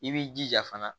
I b'i jija fana